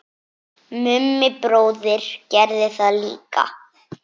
Mummi bróðir gerði það líka.